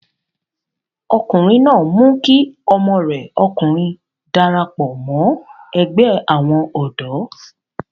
ọkùnrin náà mú kí ọmọ rẹ̀ ọkùnrin darapọ̀ mọ́ ẹgbẹ́ àwọn ọ̀dọ́